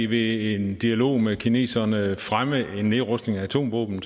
ved en dialog med kineserne fremme en nedrustning af atomvåben